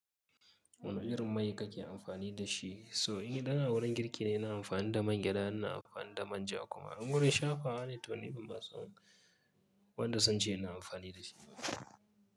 Wane irin mai kake amfani da shi? So in dan a wurin girki ne, ina amfani da man gyaɗa, ina amfani da manja kuma in gurin shafawa. A littoni ba wanda sun ce ina amfani da shi ba.